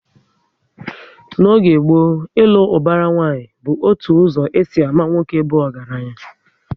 N'oge gboo, ilu ubara nwanyi bụ otu ụzọ e si ámá nwoke bụ ọgaranya